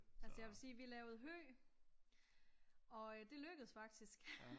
Altså jeg vil sige vi lavede hø og øh det lykkedes faktisk